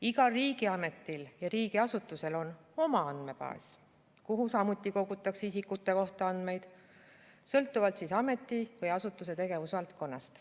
Igal riigiametil ja riigiasutusel on oma andmebaas, kuhu samuti kogutakse isikute kohta andmeid sõltuvalt ameti või asutuse tegevusvaldkonnast.